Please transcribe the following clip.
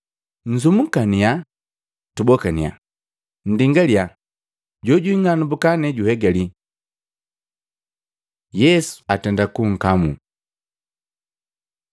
Nzumukannya, tubokannya, nndingaliya, jojwing'anambuka ne juhegalii.” Yesu atenda kunkamuu Matei 26:47-56; Luka 22:47-53; Yohana 18:3-12